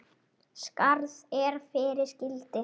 Skarð er fyrir skildi.